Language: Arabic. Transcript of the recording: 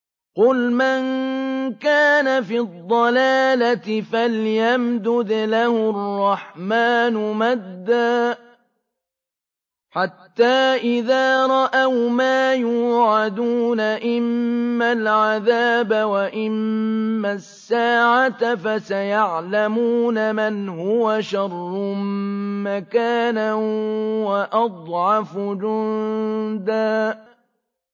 قُلْ مَن كَانَ فِي الضَّلَالَةِ فَلْيَمْدُدْ لَهُ الرَّحْمَٰنُ مَدًّا ۚ حَتَّىٰ إِذَا رَأَوْا مَا يُوعَدُونَ إِمَّا الْعَذَابَ وَإِمَّا السَّاعَةَ فَسَيَعْلَمُونَ مَنْ هُوَ شَرٌّ مَّكَانًا وَأَضْعَفُ جُندًا